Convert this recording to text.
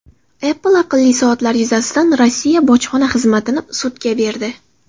Apple aqlli soatlar yuzasidan Rossiya bojxona xizmatini sudga berdi.